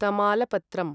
तमालपत्रम्